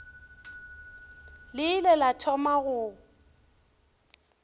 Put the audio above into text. le ile la thoma go